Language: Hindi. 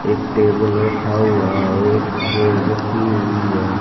एक टेबल रखा हुआ है एक चेयर रखी हुई है।